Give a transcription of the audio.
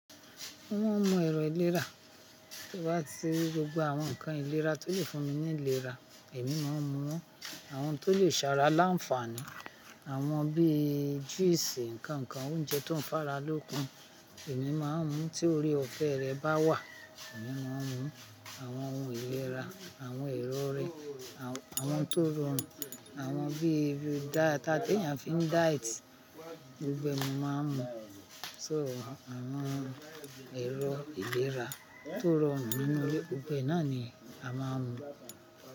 Wọ́n mọ ẹ̀rọ ìlera. Tí n bá ti rí gbogbo àwọn nǹkan ìlera tó lẹ fún mi ní ìlera, èmi máa n mu wọ́n. Àwọn tó lè ṣe ara láǹfààní, àwọn bíi juice, nǹkan nǹkan oúnjẹ tó ń fara lókun, èmi máa ń mu. Tí oore ọ̀fẹ́ rẹ bá wà, èmi máa ń mu. Àwọn ohun ìlera, àwọn ẹ̀rọ rẹ, àwọn tó rọrùn, àwọn bí ibi daadaa tí ènìyàn fi ń diet. Gbogbo ẹ̀ mo máa ń mu. So àwọn ẹ̀rọ ìlera tó rọrùn nínú ilé gbogbo ẹ̀ nà ni a máa ń mu.